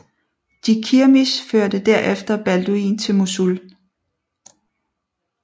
Jikirmish førte derefter Balduin til Mosul